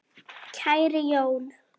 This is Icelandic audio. Kæri Jón.